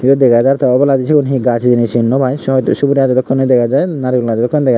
yod dega jar te oboladi siyun he gaj hejeni sinnopai sod suguri gajo dokken dega jai narehulo gajo dokken dega jaai.